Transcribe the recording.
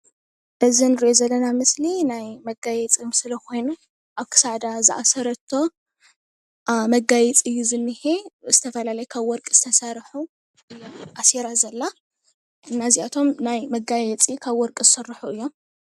እዚ እንርእዮ ዘለና ምስሊ ናይ መጋየፂ ምስሊ ኮይኑ ኣብ ክሳዳ ዝኣሰረቶ መጋየፂ እዩ ዝኒሄ ዝተፈላለዩ ካብ ወርቂ ዝተሰርሑ ኣሲራ ዘላ እና እዚኣቶም ካብ ወርቂ ዝስርሑ እዮም።